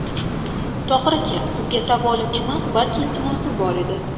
Tohir aka, sizga savolim emas, balki iltimosim bor edi.